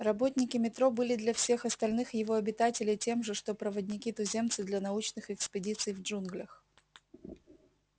работники метро были для всех остальных его обитателей тем же что проводники-туземцы для научных экспедиций в джунглях